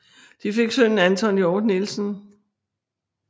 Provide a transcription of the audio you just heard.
De fik sønnen Anton Hjort Nielsen